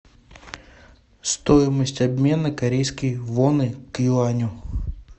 стоимость обмена корейской воны к юаню